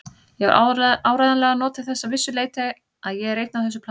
Ég hef áreiðanlega notið þess að vissu leyti að ég er einn á þessu plani.